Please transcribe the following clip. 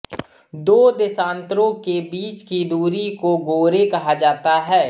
दो देशान्तरों के बीच की दुरी को गोरे कहा जाता है